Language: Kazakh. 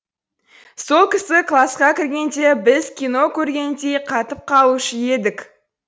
сол кісі класқа кіргенде біз кино көргендей қатып қалушы едік